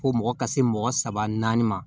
Fo mɔgɔ ka se mɔgɔ saba naani ma